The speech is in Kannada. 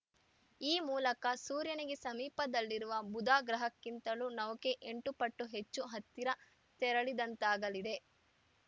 ಈ ಮೂಲಕ ಸೂರ್ಯನಿಗೆ ಸಮೀಪದಲ್ಲಿರುವ ಬುಧ ಗ್ರಹಕ್ಕಿಂತಲೂ ನೌಕೆ ಎಂಟು ಪಟ್ಟು ಹೆಚ್ಚು ಹತ್ತಿರ ತೆರಳಿದಂತಾಗಲಿದೆ